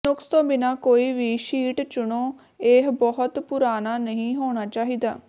ਨੁਕਸ ਤੋਂ ਬਿਨਾਂ ਕੋਈ ਵੀ ਸ਼ੀਟ ਚੁਣੋ ਇਹ ਬਹੁਤ ਪੁਰਾਣਾ ਨਹੀਂ ਹੋਣਾ ਚਾਹੀਦਾ